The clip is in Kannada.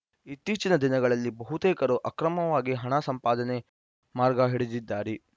ಇತ್ತೀಚಿನ ದಿನಗಳಲ್ಲಿ ಬಹುತೇಕರು ಅಕ್ರಮವಾಗಿ ಹಣ ಸಂಪಾದನೆ ಮಾರ್ಗ ಹಿಡಿದಿದ್ದಾರೆ